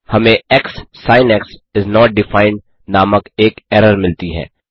हमें एक्ससिंक्स is not defined नामक एक एरर मिलती है